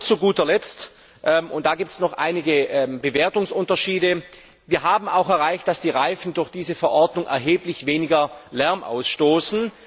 Zu guter Letzt und da gibt es noch einige Bewertungsunterschiede haben wir auch erreicht, dass die Reifen durch diese Verordnung erheblich weniger Lärm ausstoßen.